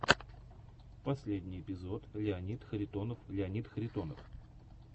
последний эпизод леонид харитонов леонид харитонов